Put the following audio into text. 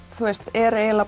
er